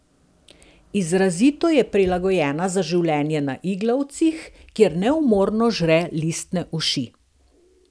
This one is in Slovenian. Izrazito je prilagojena za življenje na iglavcih, kjer neumorno žre listne uši.